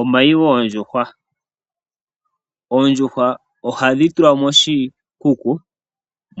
Omayi goondjuhwa. Oondjuhwa ohadhi tulwa moshikuku